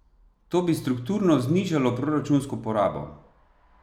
To bi strukturno znižalo proračunsko porabo.